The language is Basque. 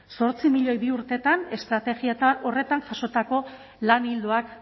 zortzi milioi bi urtetan estrategia horretan jasotako lan ildoak